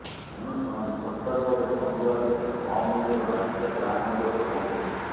ତେଣୁ ସେମାନେ ଶସ୍ତା ଦରରେ ଫୋନ୍ ଦେବା ସହିତ କମ୍ ମୂଲ୍ୟର ମାସିକିଆ ପ୍ଲାନ୍ ମଧ୍ୟ ପ୍ରଦାନ କରିବେ